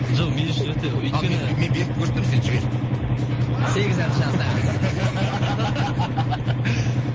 жоқ мен үшін өте өйткені ал мен берікті көрсетемін сен жібер сегіз ән жазды